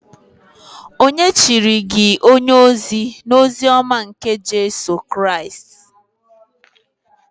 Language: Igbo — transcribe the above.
Ònye chiri gi onye-ozi nke ozi-ọma nke Jisus Kraist?